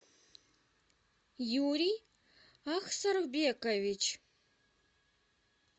юрий ахсарбекович